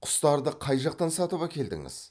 құстарды қай жақтан сатып әкелдіңіз